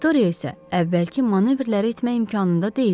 Viktoriya isə əvvəlki manevrləri etmək imkanında deyildi.